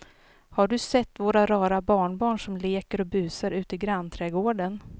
Har du sett våra rara barnbarn som leker och busar ute i grannträdgården!